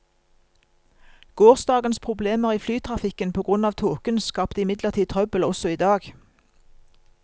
Gårsdagens problemer i flytrafikken på grunn av tåken skapte imidlertid trøbbel også i dag.